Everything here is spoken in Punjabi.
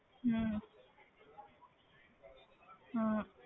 ਹਮ ਹਾਂ।